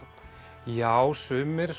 já sumir